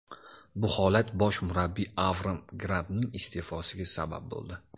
Bu holat bosh murabbiy Avraam Grantning iste’fosiga sabab bo‘ldi.